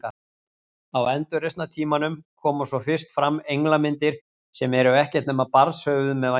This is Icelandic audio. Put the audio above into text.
Á endurreisnartímanum koma svo fyrst fram englamyndir sem eru ekkert nema barnshöfuð með vængi.